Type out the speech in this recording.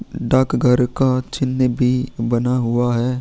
डाक घर का चिन्ह भी बना हुआ है।